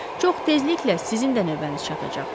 Çox tezliklə sizin də növbəniz çatacaq.